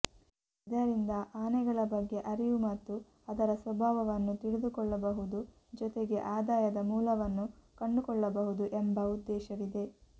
ಇದರಿಂದ ಆನೆಗಳ ಬಗ್ಗೆ ಅರಿವು ಮತ್ತು ಅದರ ಸ್ವಭಾವವನ್ನು ತಿಳಿದುಕೊಳ್ಳಬಹುದು ಜೊತೆಗೆ ಆದಾಯದ ಮೂಲವನ್ನು ಕಂಡುಕೊಳ್ಳಬಹುದು ಎಂಬ ಉದ್ದೇಶವಿದೆ